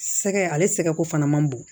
Sɛgɛ ale sɛgɛko fana man bon